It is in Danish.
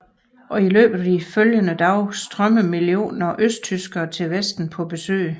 I løbet af de følgende dage strømmede millioner af østtyskere til Vesten på besøg